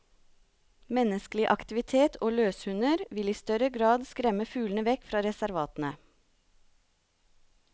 Menneskelig aktivitet og løshunder vil i større grad skremme fuglene vekk fra reservatene.